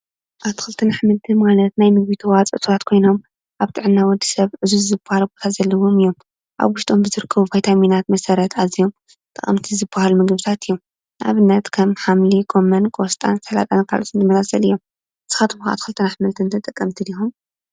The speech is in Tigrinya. ኣትክልትን ኣሕምትን ማለት ናይ ምግቢ ተዋፅኦታት ኮይኖም ኣብ ጥዕና ወዲሰብ ዑዙዝ ዝበሃል ግደ ዘለዎም እዮም። ኣብ ውሽጦ ብዝርከቡ ቫታሚናት መሰረት ኣዝዮም ጠቐምቲ ዝበሃሉ ምግብታት እዮም ።ንኣብነት፦ ከም ሓምሊ፣ ጎመን ፣ቆስጣን ስላጣ ካልኦትን ዝመሳሰሉ እዮም። ንስካትኩም ኣትክልትን ኣሕምልትን ተጠቀምቲ ዲኩም?